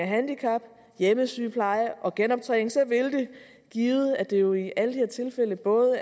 handicap hjemmesygepleje og genoptræning så vil det givet at det jo i alle de tilfælde er både